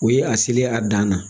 O ye a selen a dan na